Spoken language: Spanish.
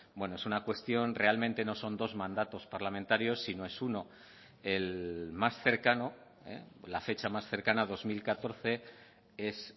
bueno es una cuestión realmente no son dos mandatos parlamentarios sino es uno el más cercano la fecha más cercana a dos mil catorce es